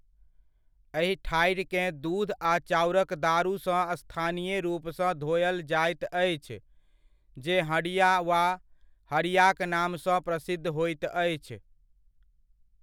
एहि ठाढ़िकेँ दूध आ चाउरक दारूसँ स्थानीय रूपसँ धोअल जायत अछि, जे हँडिया वा हरियाक नामसँ प्रसिद्ध होइत अछि।